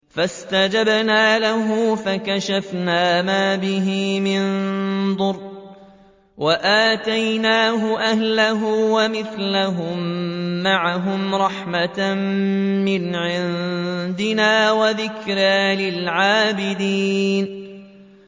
فَاسْتَجَبْنَا لَهُ فَكَشَفْنَا مَا بِهِ مِن ضُرٍّ ۖ وَآتَيْنَاهُ أَهْلَهُ وَمِثْلَهُم مَّعَهُمْ رَحْمَةً مِّنْ عِندِنَا وَذِكْرَىٰ لِلْعَابِدِينَ